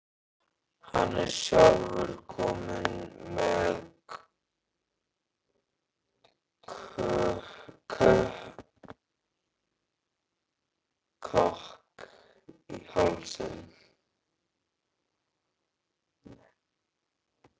Hann er sjálfur kominn með kökk í hálsinn.